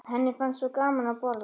Henni fannst svo gaman að borða.